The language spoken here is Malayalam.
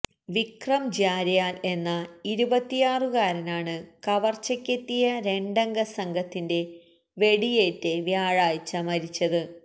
വിക്രം ജര്യാല് എന്ന ഇരുപത്തിയാറുകാരനാണ് കവര്ച്ചക്കെത്തിയ രണ്ടംഗസംഘത്തിന്റെ വെടിയേറ്റ് വ്യാഴാഴ്ച മരിച്ചത്